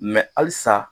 halisa